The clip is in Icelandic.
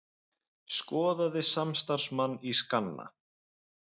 Skoðaði samstarfsmann í skanna